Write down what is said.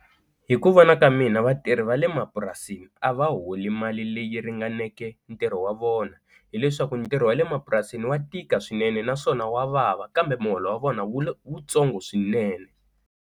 Hi ku vona ka mina vatirhi va le mapurasini a va holi mali leyi ringaneke ntirho wa vona hileswaku ntirho wa le mapurasini wa tika swinene naswona wa vava kambe muholo wa vona wu tsongo swinene.